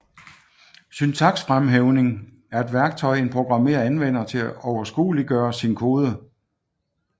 Syntaksfremhævning er et værktøj en programmør anvender til at overskueliggøre sin kode